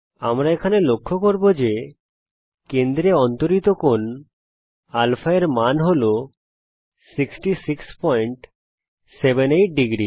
আমরা এখানে লক্ষ্য করব যে কেন্দ্রে অন্তরিত কোণ α র মান হল 6678 ডিগ্রী